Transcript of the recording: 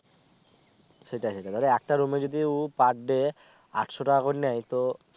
সেটাই সেটাই তাইলে একটা room এ যদিও per day আটশো টাকা করে নেয় তো